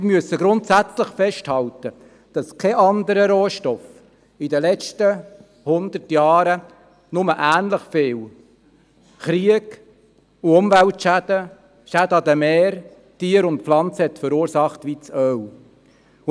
Wir müssen grundsätzlich festhalten, dass kein anderer Rohstoff in den letzten hundert Jahren nur ähnlich viel Krieg und Umweltschäden sowie Schäden an Tieren und Pflanzen verursacht hat, wie Öl.